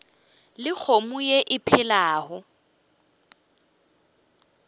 le kgomo ye e phelago